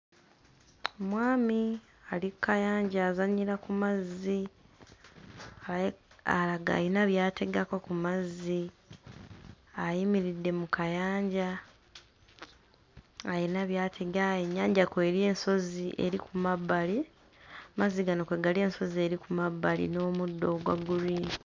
Mwami ali kkayanja azannyira ku mazzi ayi aga ayina by'ategako ku mazzi ayimiridde mu kayanja ayina by'atega ennyanja kw'eri ensozi eri ku mabbali, amazzi gano kwe gali ensozi eri ku mabbali n'omuddo ogwa green.